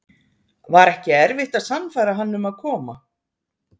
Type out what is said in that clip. Var ekki erfitt að sannfæra hann um að koma?